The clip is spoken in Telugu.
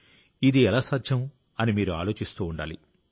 ఇది ఎలా సాధ్యం అని మీరు ఆలోచిస్తూ ఉండాలి